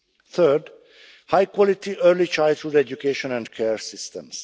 Third, high quality early childhood education and care systems.